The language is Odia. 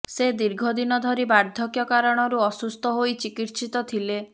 ସେ ଦୀର୍ଘ ଦିନ ଧରି ବାର୍ଦ୍ଧକ୍ୟ କାରଣରୁ ଅସୁସ୍ଥ ହୋଇ ଚିକିତ୍ସିତ ଥିଲେ